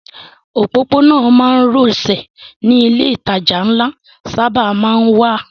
Òpópónà márosẹ̀ ni ilé ìtajà ńlá sábà má ń wà